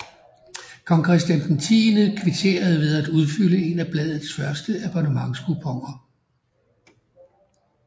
Kong Christian X kvitterede ved at udfylde en af bladets første abonnementskuponer